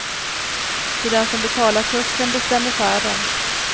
Ty den som betalar kusken bestämmer färden.